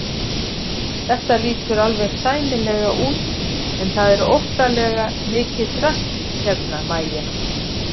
Þetta lítur alveg sæmilega út en það er óttalega mikið drasl hérna MÆJA!